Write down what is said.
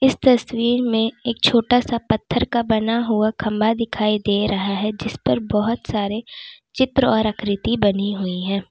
इस तस्वीर में एक छोटा सा पत्थर का बना हुआ खंबा दिखाई दे रहा है जिसपर बोहोत सारे चित्र और आकृति बनी हुई हैं।